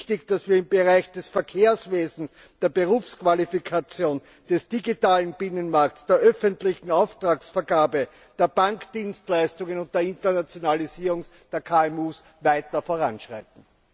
Es ist wichtig, dass wir im Bereich des Verkehrswesens, der Berufsqualifikation, des digitalen Binnenmarkts, der öffentlichen Auftragsvergabe, der Bankdienstleistungen und der Internationalisierung der KMU weiter voranschreiten!